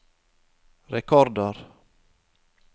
rekordår